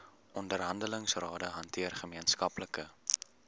onderhandelingsrade hanteer gemeenskaplike